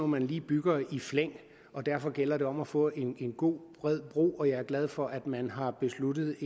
man lige bygger i flæng og derfor gælder det om at få en god bred bro og jeg er glad for at man har besluttet